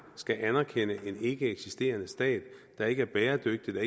skal anerkende en ikkeeksisterende stat der ikke er bæredygtig og